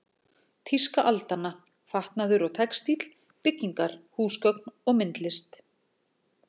Tíska aldanna: Fatnaður og textíll, byggingar, húsgögn og myndlist.